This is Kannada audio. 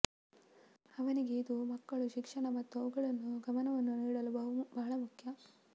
ಅವನಿಗೆ ಇದು ಮಕ್ಕಳು ಶಿಕ್ಷಣ ಮತ್ತು ಅವುಗಳನ್ನು ಗಮನವನ್ನು ನೀಡಲು ಬಹಳ ಮುಖ್ಯ